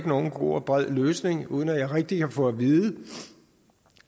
nogen god og bred løsning uden at jeg rigtig har fået vide